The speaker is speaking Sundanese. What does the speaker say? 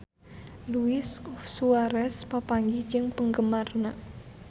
Luis Suarez papanggih jeung penggemarna